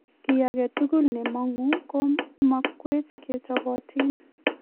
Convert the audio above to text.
kiy agetugul ne mang'u ko makwech ke chobotin